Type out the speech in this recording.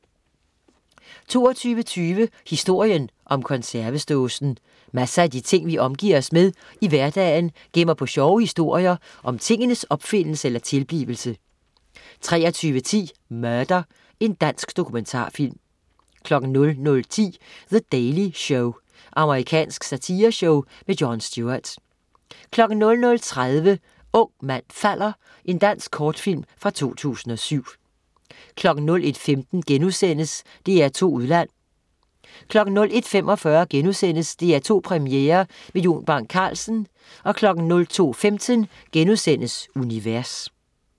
22.20 Historien om konservesdåsen. Masser af de ting vi omgiver os med i hverdagen, gemmer på sjove historier om tingenes opfindelse eller tilblivelse 23.10 Murder. Dansk dokumentarfilm 00.10 The Daily Show. Amerikansk satireshow. Jon Stewart 00.30 Ung mand falder. Dansk kortfilm fra 2007 01.15 DR2 Udland* 01.45 DR2 Premiere med Jon Bang Carlsen* 02.15 Univers*